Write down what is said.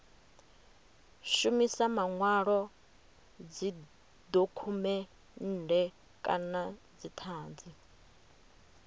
shumisa manwalo dzidokhumennde kana dzithanzi